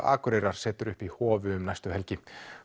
Akureyrar setur upp í Hofi um næstu helgi